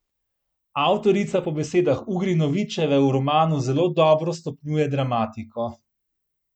Avtorica po besedah Ugrinovićeve v romanu zelo dobro stopnjuje dramatiko.